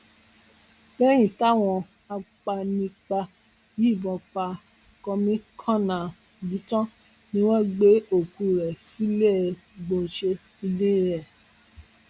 lẹyìn táwọn agbanipa yìnbọn pa kọmíkànnà yìí tán ni wọn gbé òkú ẹ sílẹẹgbọnsẹ ilé ẹ